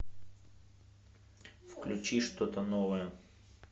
включи что то новое